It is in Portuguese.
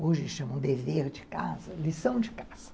Hoje chamam dever de casa, lição de casa.